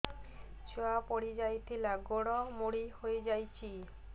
ଛୁଆ ପଡିଯାଇଥିଲା ଗୋଡ ମୋଡ଼ି ହୋଇଯାଇଛି